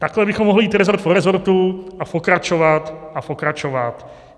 Takhle bychom mohli jít rezort po rezortu a pokračovat a pokračovat.